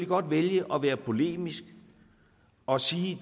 godt vælge at være polemisk og sige